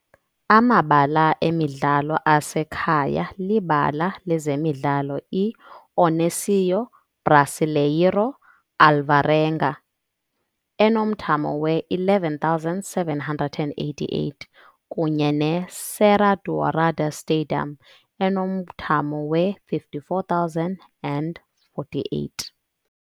Amabala emidlalo asekhaya libala lezemidlalo iOnésio Brasileiro Alvarenga, enomthamo we-11,788, kunye ne-Serra Dourada stadium, enomthamo we-54,048.